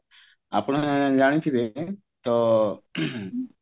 ଆପଣ ଜାଣିଥିବେ ତ